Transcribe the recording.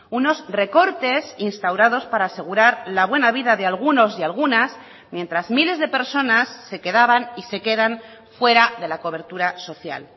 unos recortes instaurados para asegurar la buena vida de algunos y algunas mientras miles de personas se quedaban y se quedan fuera de la cobertura social